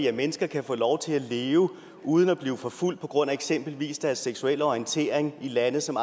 at mennesker kan få lov til at leve uden at blive forfulgt på grund af eksempelvis deres seksuelle orientering i lande som